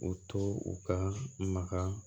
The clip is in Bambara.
O to u ka maga